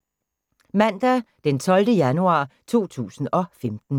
Mandag d. 12. januar 2015